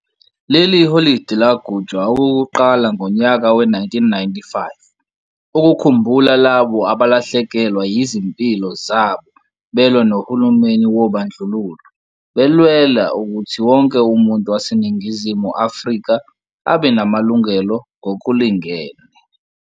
Leli holide lagujwa okukuqala ngonyaka we-1995 ukukhumbula labo abalahlekelwa yizimiplo zabo belwa nohulumeni wobandlululo, belwela ukuthi wonke umuntu waseNingizimu Afrika abe namalungelo ngokulingene.